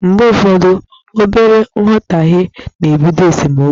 Mgbe ụfọdụ, obere nghọtahie na-ebido esemeokwu.